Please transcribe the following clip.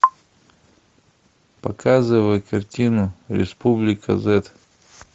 показывай картину республика зет